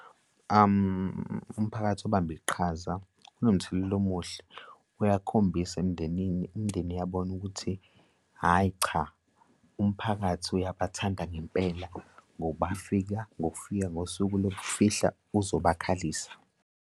Umphakathi ubambe iqhaza unomthelela omuhle, uyakhombisa emindenini. Imindeni iyabona ukuthi hhayi, cha, umphakathi uyabathanda ngempela ngoba bafika ngokufika ngosuku lokufihla uzobakhalisa.